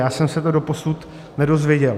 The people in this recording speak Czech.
Já jsem se to doposud nedozvěděl.